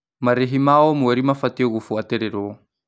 Marĩhi ma o mweri mabatiĩ gũbuatĩrĩrwo.